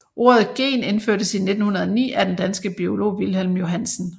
Ordet gen indførtes i 1909 af den danske biolog Wilhelm Johannsen